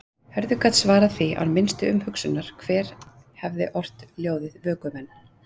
Hörður gat svarað því án minnstu umhugsunar hver hefði ort ljóðið Vökumenn.